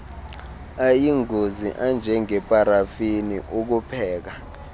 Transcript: ayingozi anjengeparafini ukupheka